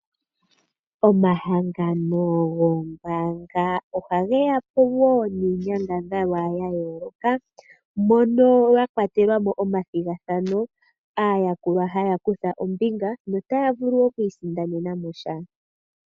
Omahangano goombaanga ohage yapo wo niinyangadhalwa ya yooloka mono ya kwatelamo omathigathano, aayakulwa haya kutha ombinga notaya vulu oku isindanenamo sha.